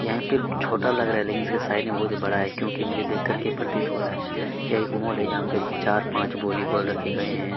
यहां पे छोटा लग रहा है लेकिन इसके साइज़ में बहुत ही बड़ा है क्योंकि मुझे देख करके प्रतीत हो रहा है यह एक मॉल है जहां पर चार पांच वॉलीबॉल रखे गए हैं--